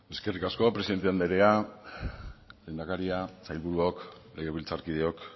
eskerrik asko presidente andrea lehendakaria sailburuok legebiltzarkideok